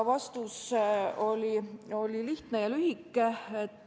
Vastus oli lihtne ja lühike.